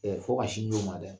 Ɛɛ fo ka sin d'o ma dɛ!